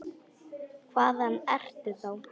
Hvaðan ertu þá?